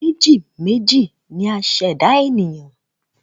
Meji méjì ni a ṣe ẹ̀dá ènìyàn